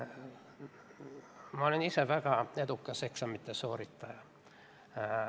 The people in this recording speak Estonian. Ma olen ise väga edukas eksamite sooritaja.